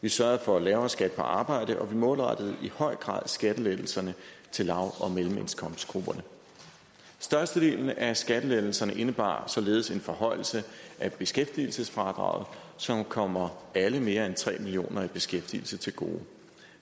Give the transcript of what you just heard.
vi sørgede for lavere skat på arbejde og vi målrettede i høj grad skattelettelserne til lav og mellemindkomstgrupperne størstedelen af skattelettelserne indebar således en forhøjelse af beskæftigelsesfradraget som kommer alle de mere end tre millioner i beskæftigelse til gode